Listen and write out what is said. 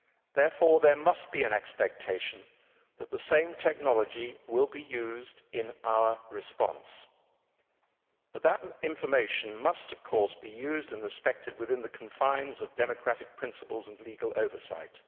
Therefore there must be an expectation that the same technology will be used in our response. But that information must be used and respected within the confines of democratic principles and legal oversight.